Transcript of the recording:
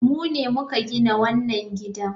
Mu ne muka gina wannan gidan.